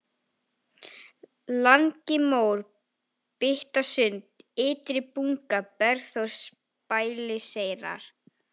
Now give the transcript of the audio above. Langimór, Pyttasund, Ytri-Bunga, Bergþórsbæliseyrar